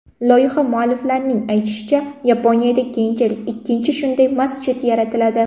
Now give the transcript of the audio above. Loyiha mualliflarining aytishicha, Yaponiyada keyinchalik ikkinchi shunday masjid yaratiladi.